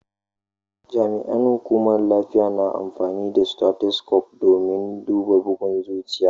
Jami'an lafiya na amfani da stethoscope domin duba bugun zuciya.